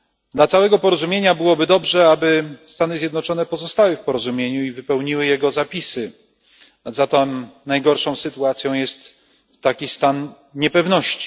Dla całego porozumienia byłoby dobrze, aby Stany Zjednoczone pozostały w porozumieniu i wypełniły jego zapisy, a zatem najgorszą sytuacją jest taki stan niepewności.